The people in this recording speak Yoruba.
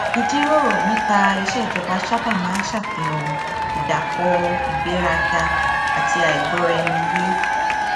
ìjíròrò nípa iṣé ìjọba sábà máa ń ṣàfihàn ìdàpọ ìgbéraga àti àìgbóraẹniyé